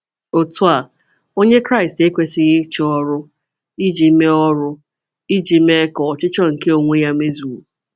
Otú a, Onye Kraịst ekwesịghị ịchọ ọrụ iji mee ọrụ iji mee ka ọchịchọ nke onwe ya mezuo.